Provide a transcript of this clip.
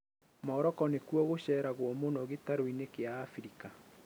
Morocco nĩkuo gũceragwo mũno gĩtarũinĩ kia Africa